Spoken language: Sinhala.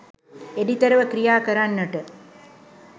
එඩිතරව ක්‍රියා කරන්නට